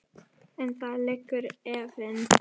En þar liggur efinn.